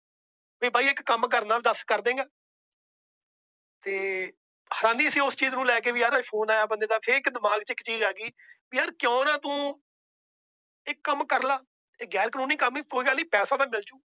ਵੀ ਬਾਈ ਇੱਕ ਕੰਮ ਕਰਨਾ ਦੱਸ ਕਰ ਦਏਗਾ ਤੇ ਹੈਰਾਨੀ ਸੀ ਉਸ ਚੀਜ਼ ਨੂੰ ਲੈਕੇ ਵੀ ਯਾਰ Phone ਆਇਆ ਬੰਦੇ ਦਾ। ਫੇਰ ਦਿਮਾਗ ਚ ਇੱਕ ਚੀਜ਼ ਆ ਗਈ ਵੀ ਯਾਰ ਕਿਉਂ ਨਾ ਤੂੰ ਇਹ ਕੰਮ ਕਰ ਲੈ। ਗੈਰ ਕਾਨੂੰਨੀ ਕੰਮ ਏ ਕੋਈ ਨਹੀਂ ਪੈਸੇ ਤਾਂ ਮਿਲ ਜਾਊਗਾ।